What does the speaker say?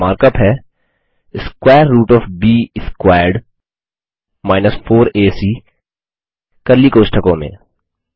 और mark up है square root O F ब स्क्वेयर्ड 4एसी कर्ली कोष्ठकों में